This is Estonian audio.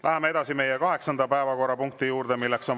Läheme kaheksanda päevakorrapunkti juurde.